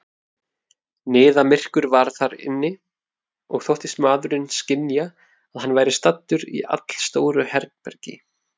Niðamyrkur var þar inni, og þóttist maðurinn skynja, að hann væri staddur í allstóru herbergi.